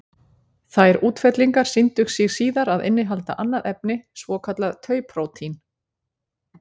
Þær útfellingar sýndu sig síðar að innihalda annað efni, svokallað tau-prótín.